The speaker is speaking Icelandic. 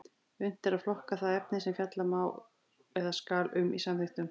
Unnt er að flokka það efni sem fjalla má eða skal um í samþykktum.